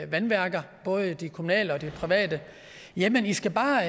vandværker både de kommunale og de private jamen i skal bare